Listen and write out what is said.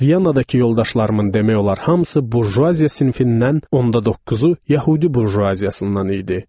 Vyanadakı yoldaşlarımın demək olar hamısı burjuaziya sinfindən, onda doqquzu yəhudi burjuaziyasından idi.